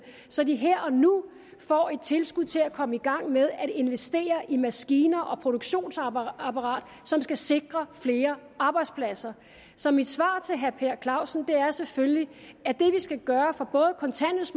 så de her og nu får et tilskud til at komme i gang med at investere i maskiner et produktionsapparat som skal sikre flere arbejdspladser så mit svar til herre per clausen er selvfølgelig at det vi skal gøre for